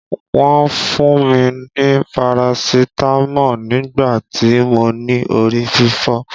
Wọ́n fún mi ni parasitámọ̀ nígbà tí mo ní orí fífọ́.